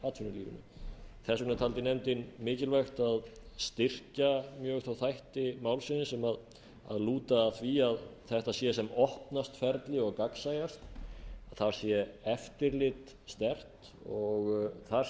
atvinnulífinu þess vegna taldi nefndin mikilvægt að styrkja mjög þá þætti málsins sem lúta að því að þetta sé sem opnast ferli og gagnsæjast þar sé eftirlit sterkt og þar